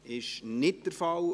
– Das ist nicht der Fall.